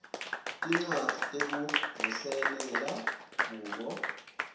tincwadzi tekuvuselela kubo